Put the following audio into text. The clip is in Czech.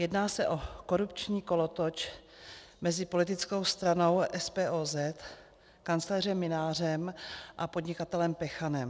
Jedná se o korupční kolotoč mezi politickou stranou SPOZ, kancléřem Mynářem a podnikatelem Pechanem.